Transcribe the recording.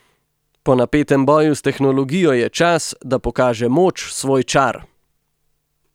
Po napetem boju s tehnologijo je čas, da pokaže moč svoj čar!